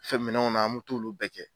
Fɛn minɛnw na an me t'olu bɛɛ kɛ